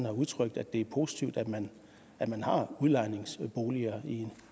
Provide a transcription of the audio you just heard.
udtrykt at det er positivt at man at man har udlejningsboliger